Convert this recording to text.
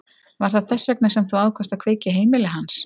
Var það þess vegna sem þú ákvaðst að kveikja í heimili hans?